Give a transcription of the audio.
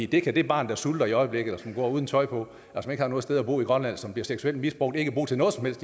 kan det barn der sulter i øjeblikket som går rundt uden tøj på som ikke har noget sted at bo i grønland og som bliver seksuelt misbrugt ikke bruge til noget som helst